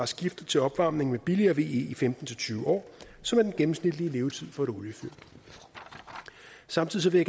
skiftet til opvarmning med billigere ve i femten til tyve år som er den gennemsnitlige levetid for et oliefyr samtidig